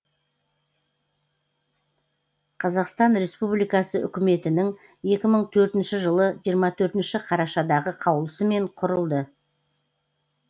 қазақстан республикасы үкіметінің екі мың төртінші жылы жиырма төртінші қарашадағы қаулысымен құрылды